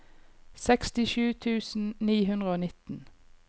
sekstisju tusen ni hundre og nitten